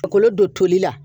Ka kolo don toli la